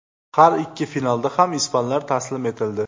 Har ikki finalda ham ispanlar taslim etildi.